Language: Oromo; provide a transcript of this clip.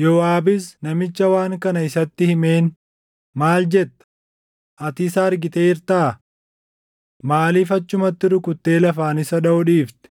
Yooʼaabis namicha waan kana isatti himeen, “Maal jetta! Ati isa argiteertaa? Maaliif achumatti rukuttee lafaan isa dhaʼuu dhiifte?